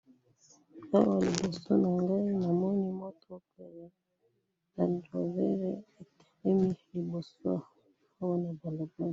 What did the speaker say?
Awa liboso na ngai namoni mutuka ,ya rang rover etelemi liboso , awa na balabala